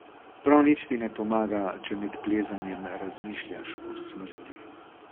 Prav nič ti ne pomaga, če med plezanjem razmišljaš o smrti.